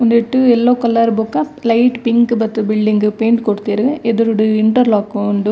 ಉಂದೆಟ್ yellow colour ಬೊಕ light pink ಬತ್ತ್ ಬಿಲ್ಡಿಂಗ್ ಪೈಂಟ್ ಕೊರ್ತೆರ್ ಎದುರುಡು ಇಂಟರ್ಲೋಕ್ ಉಂಡು.